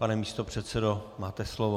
Pane místopředsedo, máte slovo.